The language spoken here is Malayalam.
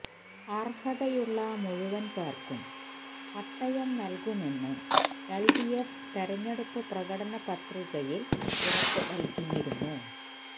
അർഹതയുള്ള മുഴുവൻ പേർക്കും പട്ടയം നൽകുമെന്ന് എൽഡിഎഫ് തെരഞ്ഞെടുപ്പ് പ്രകടനപത്രിയിൽ ഉറപ്പുനൽകിയിരുന്നു